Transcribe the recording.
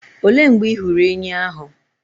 Òlé mgbe ị hụrụ ènyị́ ahụ?